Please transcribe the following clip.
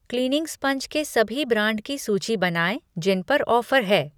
Cleaning sponge के सभी brand की सूची बनाएँ जिन पर ऑफ़र है।